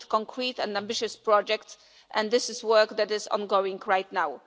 We need concrete and ambitious projects and this is work that is ongoing right now.